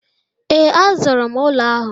Ee, a zụrụ m ụlọ ahụ.